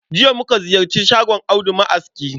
Jiya muka ziyarci shagon Audu ma'aski